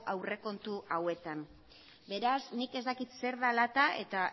aurrekontu hauetan beraz nik ez dakit zer da dela eta eta